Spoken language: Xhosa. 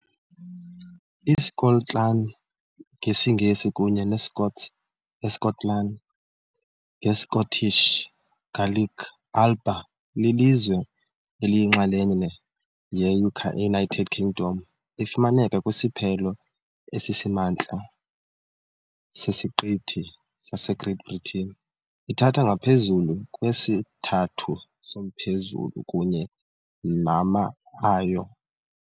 ISkotlani, ngesiNgesi kunye neScots "eSkotlani", ngesiScottish Gaelic "Alba", lilizwe eliyinxalenye yeUnited Kingdom . Ifumaneka kwisiphelo esisemantla sesiqithi saseGreat Britain, ithatha ngaphezulu kwesithathu somphezulu kunye nama ayo.